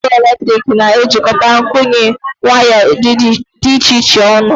Ọ bụ njikọ eletrik na-ejikọta nkwụnye waya dị iche iche ọnụ.